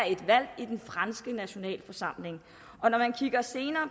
et valg i den franske nationalforsamling